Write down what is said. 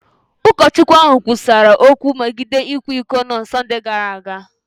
Ụkọchukwu ahụ kwusara okwu megide ịkwa iko na Sọnde gara aga.